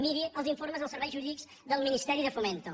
miri els informes dels serveis jurídics del ministeri de fomento